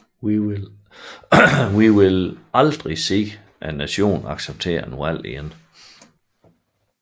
Vi ville aldrig se hele nationen acceptere et valg igen